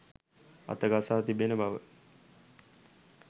අත ගසා තිබෙන බව